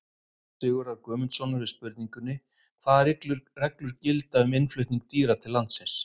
Svar Sigurðar Guðmundssonar við spurningunni Hvaða reglur gilda um innflutning dýra til landsins?